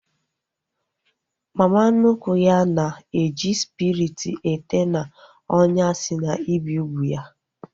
Mama nnukwu ya na-eji spiriti ete n'ọnyà si na ibi úgwù ya